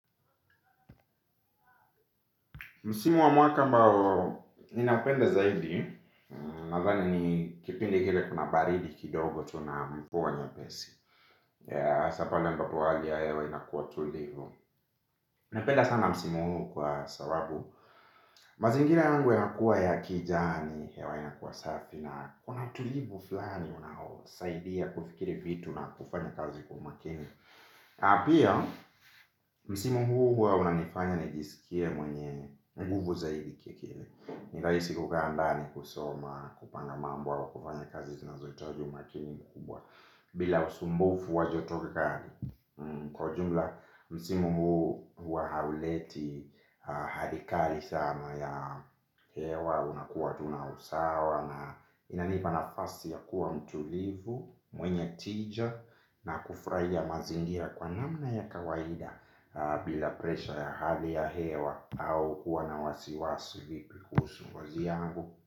Msimu wa mwaka ambao, ninapenda zaidi nathani ni kipindi kile kuna baridi kidogo tu na mvua nyepesi. Hasa pale ambapo hali ya hewa inakuwa tulivu napenda sana msimu huu kwa sababu mazingira yangu yanakuwa ya kijani hewa inakuwa safi. Na kuna tulivu fulani unaosaidia kufikiri vitu na kufanya kazi kwa umakini. Na pia, msimu huu huwa unanifanya nijisikie mwenye nguvu zaidi kia kile. Ni rahisi kukaa ndani kusoma kupanga mambo au kufanya kazi zinazohitaji umakini mkubwa. Bila usumbufu wa jotokani kwa jumla msimu huu huwa hauleti hadi kali sana ya hewa. Unakuwa tuna usawa na inanipa nafasi ya kuwa mtulivu. Mwenye tija na kufurahia mazingira kwa namna ya kawaida bila presha ya hali ya hewa au kuwa na wasiwasi vipi kuhusu mwa yangu.